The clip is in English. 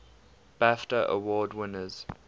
bafta award winners